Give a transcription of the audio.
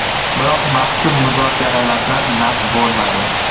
Biroq mazkur muzokaralardan naf bo‘lmadi.